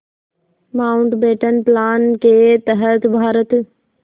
Mountbatten plan के तहत भारत